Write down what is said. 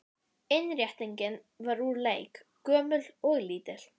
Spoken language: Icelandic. Innréttingin var úr eik, gömul og lítil.